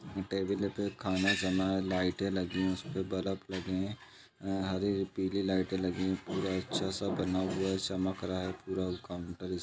table पे खाना जमा हैं लाइटे लगी हैं उसपे बल्ब लगे हैं हरे पीली लाइटें लागी हैं पूरा अच्छा सा बना हुआ हैं चमक रहा हैं पूरा काउंटर इसका --